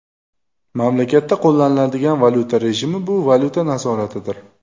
Mamlakatda qo‘llaniladigan valyuta rejimi bu valyuta nazoratidir.